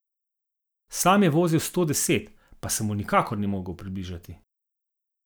Sam je vozil sto deset, pa se mu nikakor ni mogel približati.